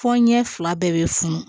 Fɔ ɲɛ fila bɛɛ bɛ funu